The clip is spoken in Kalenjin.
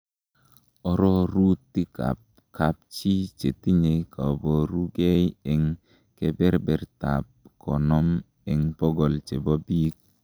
Ororutikab kapchii chetinye koborukei en keberertab konom en bokol chebo biik.